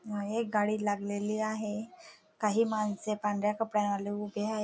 मागे एक गाडी लागलेली आहे काही माणसे पांढऱ्या कपड्यांवाले उभे आ--